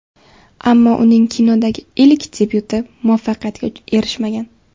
Ammo uning kinodagi ilk debyuti muvaffaqiyatga erishmagan.